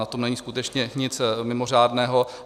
Na tom není skutečně nic mimořádného.